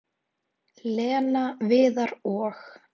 """Lena, Viðar og-"""